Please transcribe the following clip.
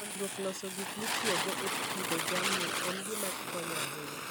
Puonjruok loso gik mitiyogo e pidho jamni en gima konyo ahinya.